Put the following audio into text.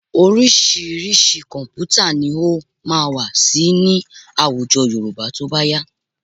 Oríṣiríṣi kọ̀m̀pútà ni ó máa wà síi ní àwùjọ Yorùbá tó bá yá